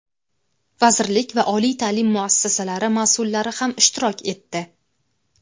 vazirlik va oliy taʼlim muassasalari masʼullari ham ishtirok etdi.